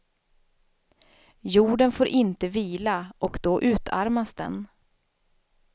Jorden får inte vila och då utarmas den.